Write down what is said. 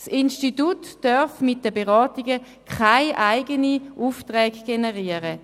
Das Institut darf mit den Beratungen keine eigenen Aufträge generieren.